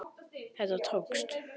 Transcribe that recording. Þetta tókst.